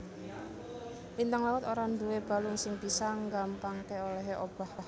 Lintang laut ora nduwé balung sing bisa nggampangké olèhé obah